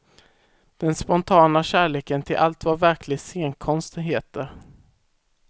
Den spontana kärleken till allt vad verklig scenkonst heter.